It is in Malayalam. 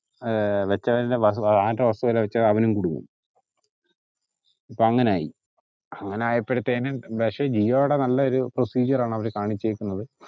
ഏഹ് വെച്ചവന്റെ work പോലെ വച്ച ഇപ്പൊ അവനും കുടുങ്ങും ഇപ്പൊ അങ്ങനായി അങ്ങനായപ്പഴത്തേനും പഷേ ജിയോടെ നല്ല ഒരു procedure ആണ് അവര് കാണിച്ചേക്കുന്നത്